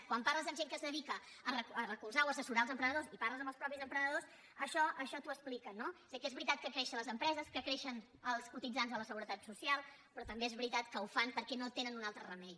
quan parles amb gent que es dedica a recolzar o assessorar els emprenedors i parles amb els mateixos emprenedors això t’ho expliquen no o sigui que és veritat que creixen les empreses que creixen els cotitzants a la seguretat social però també és veritat que ho fan perquè no tenen un altre remei